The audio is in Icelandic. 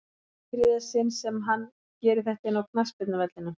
En í þriðja sinn sem hann gerir þetta inná knattspyrnuvellinum?